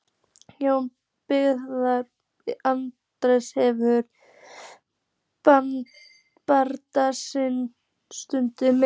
Jón biskup Arason hefur bannsungið mig.